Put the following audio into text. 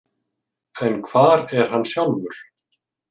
En hvar er hann sjálfur?